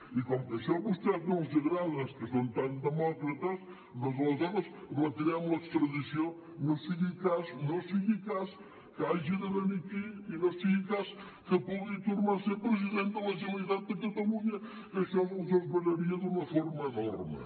i com que això a vostès no els agrada que són tan demòcrates doncs aleshores retirem l’extradició no sigui cas que hagi de venir aquí i no sigui cas que pugui tornar a ser president de la generalitat de catalunya que això els esveraria d’una forma enorme